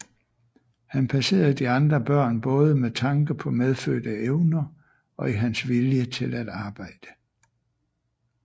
Han passerede de andre børn både med tanke på medfødte evner og i hans vilje til at arbejde